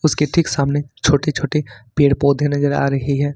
उसके ठीक सामने छोटे छोटे पेड़ पौधे नजर आ रही है।